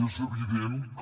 és evident que